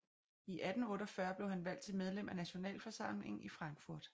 I 1848 blev han valgt til medlem af Nationalforsamlingen i Frankfurt a